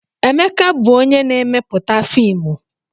Emeka bụ onye na-emepụta fiimu.